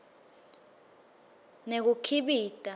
nekukhibika